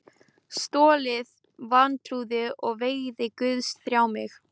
Stoltið, vantrúin og vegir Guðs þjá mig.